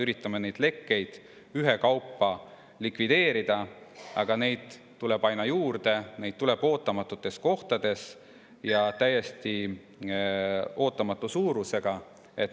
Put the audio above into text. Üritame lekkeid ühekaupa likvideerida, aga neid tuleb aina juurde, neid tuleb ootamatutes kohtades ja täiesti ootamatu suurusega.